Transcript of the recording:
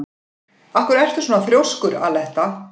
Af hverju ertu svona þrjóskur, Aletta?